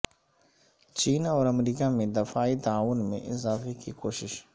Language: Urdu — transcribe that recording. چین اور امریکہ میں دفاعی تعاون میں اضافے کی کوشش